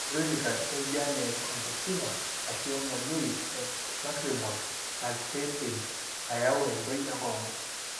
Chronicaa enjian e conjunctiva, ashu engonyoi e lacrimal na kindim ayau entoi enkongu,